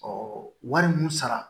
Ɔ wari mun sara